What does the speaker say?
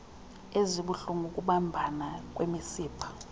ezibuhlulngu ukubambana kwemisipha